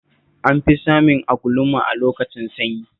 An fi samun agwluma a lokacin sanyi